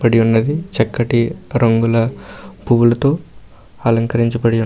పడి ఉన్నది చక్కటి రంగుల పూలతో అలంకరించబడి ఉన్ --